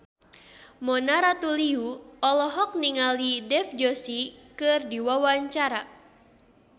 Mona Ratuliu olohok ningali Dev Joshi keur diwawancara